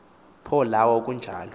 pho lwawo kunjalo